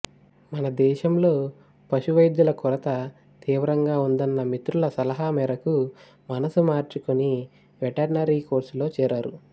మన దేశంలో పశు వైద్యులు కొరత తీవ్రంగా ఉందన్న మిత్రుల సలహా మేరకు మనసు మార్చుకొని వెటర్నరీ కోర్సులో చేరారు